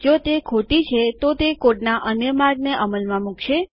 જો તે ખોટી છે તો તે કોડના અન્ય માર્ગને અમલમાં મુકશે